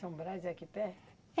São Brás é aqui perto?